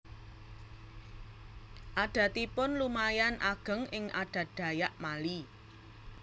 Adatipun lumayan ageng ing adat Dayak Mali